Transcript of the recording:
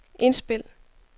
indspil